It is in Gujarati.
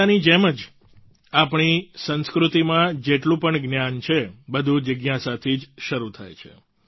ગીતાની જ જેમ આપણી સંસ્કૃતિમાં જેટલું પણ જ્ઞાન છે બધું જિજ્ઞાસાથી જ શરૂ થાય છે